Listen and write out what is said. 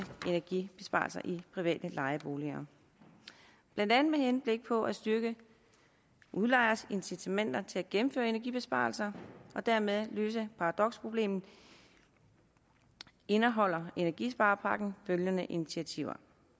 energibesparelser i private lejeboliger blandt andet med henblik på at styrke udlejeres incitamenter til at gennemføre energibesparelser og dermed løse paradoksproblemet indeholder energisparepakken følgende initiativer